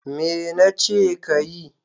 Me nace kayi?